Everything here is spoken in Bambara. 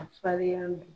A farinya